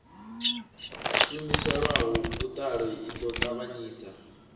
shumiselwaho vhuṱali i ḓo ṱavhanyisa